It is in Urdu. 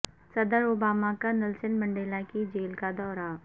صدر اوباما کا نیلسن منڈیلا کی جیل کا دورہ